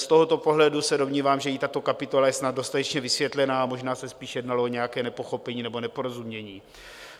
Z tohoto pohledu se domnívám, že je tato kapitola je snad dostatečně vysvětlena, a možná se spíš jednalo o nějaké nepochopení nebo neporozumění.